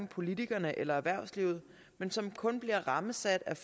politikerne eller erhvervslivet men som kun bliver rammesat af